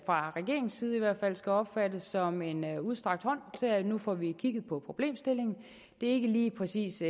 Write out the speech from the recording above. fra regeringens side skal opfattes som en udstrakt hånd til at nu får vi kigget på problemstillingen det er ikke lige præcis